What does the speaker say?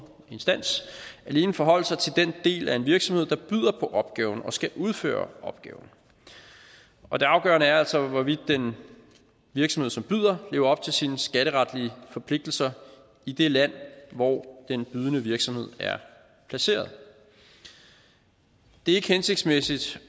instans alene forholde sig til den del af en virksomhed der byder på opgaven og skal udføre opgaven og det afgørende er altså hvorvidt den virksomhed som byder lever op til sine skatteretlige forpligtelser i det land hvor den bydende virksomhed er placeret det er ikke hensigtsmæssigt